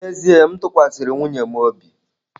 N'ezie m tụkwasịrị nwunye m obi.